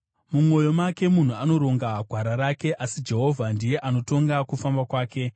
Mumwoyo make munhu anoronga gwara rake, asi Jehovha ndiye anotonga kufamba kwake.